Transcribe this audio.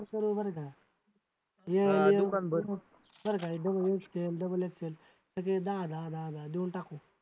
असं करूया बरं का बरं का double XL सगळे दहा दहा दहा देऊन टाकू.